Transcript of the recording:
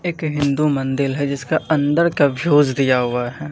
एक हिंदू मंदिल है जिसका अंदर का व्यूज़ दिया हुआ है।